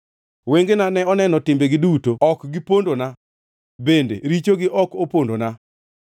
Wengena ne oneno timbegi duto; ok gipondona, bende richogo ok opondona.